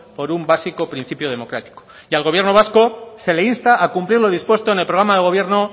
por un básico principio democrático y al gobierno vasco se le insta a cumplir lo dispuesto en el programa de gobierno